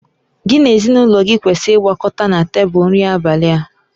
Gị na ezinụlọ gị kwesịrị ịgbakọta na tebụl nri abalị a